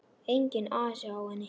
Enginn asi á henni.